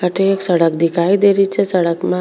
अठे एक सड़क दिखाई दे रही छे सड़क में --